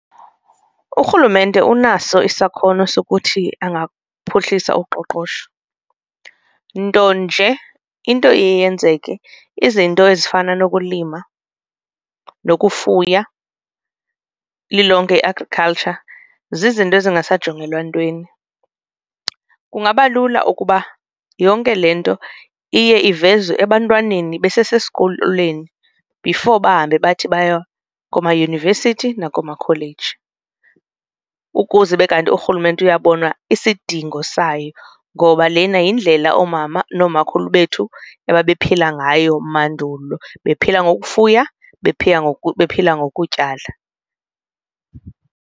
Urhulumente unaso isakhono sokuthi angaphuhlisa uqoqosho nto nje into iye yenzeke izinto ezifana nokulima nokufuya lilonke i-agriculture zizinto ezingasajongelwa ntweni. Kungaba lula ukuba yonke le nto iye ivezwe ebantwaneni besesesikolweni before bahambe bathi baya komayunivesithi nakoomakholeji. Ukuze ube kanti urhulumente uyabona isidingo sayo ngoba lena yindlela oomama noomakhulu bethu ababephila ngayo mandulo bephila ngokufuya, bephila bephila ngokutyala.